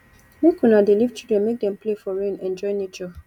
make una dey leave children make dem play for rain enjoy nature